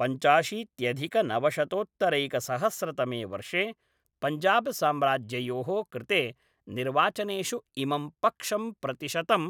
पञ्चाशीत्यधिकनवशतोत्तरैकसहस्रतमे वर्षे पञ्जाबस्साम्राज्ययोः कृते निर्वाचनेषु इमं पक्षं प्रतिशतं